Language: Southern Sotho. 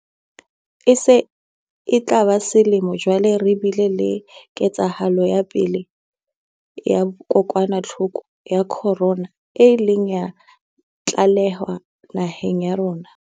E se e tla ba selemo jwale re bile le ketsahalo ya pele ya kokwanahloko ya khorona e ileng ya tlalehwa naheng ya rona.